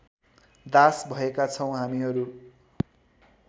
दास भएका छौँ हामीहरू